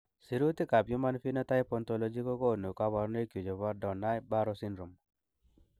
Sirutikab Human Phenotype Ontology kokonu koborunoikchu chebo Donnai Barrow syndrome.